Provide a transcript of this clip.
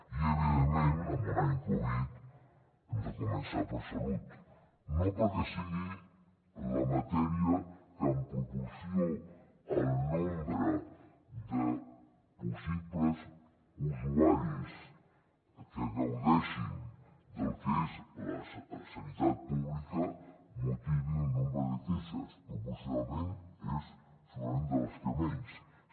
i evidentment en un any covid hem de començar per salut no perquè sigui la matèria que en proporció al nombre de possibles usuaris que gaudeixin del que és la sanitat pública motivi un nombre de queixes proporcionalment és segurament de les que menys